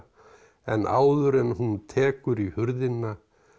en áður en hún tekur í hurðina